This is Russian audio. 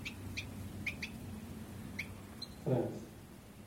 фрэндс